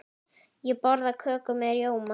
Ég borða köku með rjóma.